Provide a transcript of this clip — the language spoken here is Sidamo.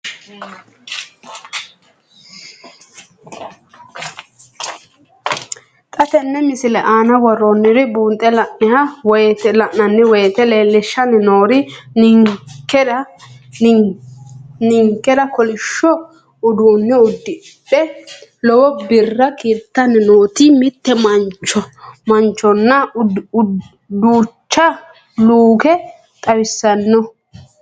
Xa tenne missile aana worroonniri buunxe la'nanni woyiite leellishshanni noori ninkera kolishsho uduunne uddidhe lowo birra kiirtanni noota mitte manchonna duucha luuke xawissanno.